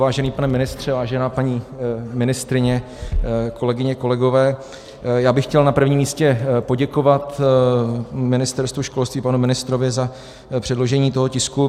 Vážený pane ministře, vážená paní ministryně, kolegyně, kolegové, já bych chtěl na prvním místě poděkovat Ministerstvu školství, panu ministrovi za předložení toho tisku.